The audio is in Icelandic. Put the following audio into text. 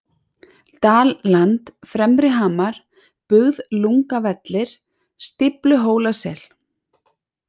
Dalland, Fremri-Hamar, Bugðlungavellir, Stífluhólasel